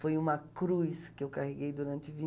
Foi uma cruz que eu carreguei durante